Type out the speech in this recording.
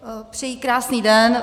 Přeji krásný den.